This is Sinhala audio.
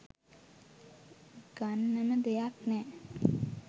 ගන්නම දෙයක් නෑ .